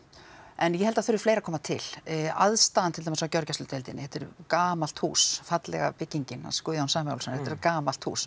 en ég held að það þurfi fleira að koma til aðstaðan til dæmis á gjörgæsludeildinni þetta er gamalt hús fallega byggingin hans Guðjóns Samúelssonar þetta er gamalt hús